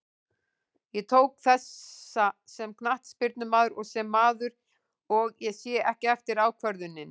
Ég tók þessa sem knattspyrnumaður og sem maður, og ég sé ekki eftir ákvörðuninni.